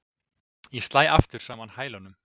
Ég slæ aftur saman hælunum.